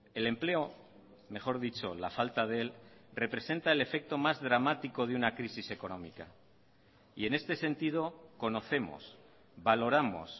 el empleo mejor dicho la falta de él representa el efecto más dramático de una crisis económica y en este sentido conocemos valoramos